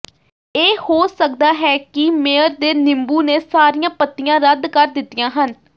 ਇਹ ਹੋ ਸਕਦਾ ਹੈ ਕਿ ਮੇਅਰ ਦੇ ਨਿੰਬੂ ਨੇ ਸਾਰੀਆਂ ਪੱਤੀਆਂ ਰੱਦ ਕਰ ਦਿੱਤੀਆਂ ਹਨ